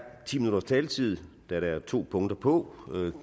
ti minutters taletid da der er to punkter på